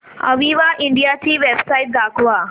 Aviva India ची website दाखवा